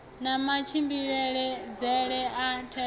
na matshimbidzele a thenda a